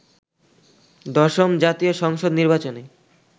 ১০ম জাতীয় সংসদ নির্বাচনে